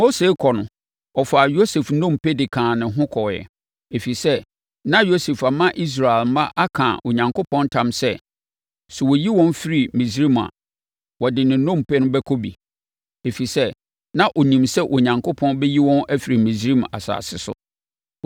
Mose rekɔ no, ɔfaa Yosef nnompe de kaa ne ho kɔeɛ, ɛfiri sɛ, na Yosef ama Israel mma aka Onyankopɔn ntam sɛ, “Sɛ ɔreyi wɔn afiri Misraim a, wɔde ne nnompe bɛkɔ bi, ɛfiri sɛ, na ɔnim sɛ Onyankopɔn bɛyi wɔn afiri Misraim asase so.”